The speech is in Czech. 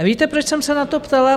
Víte, proč jsem se na to ptala?